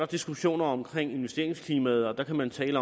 diskussioner om investeringsklimaet og der kan man tale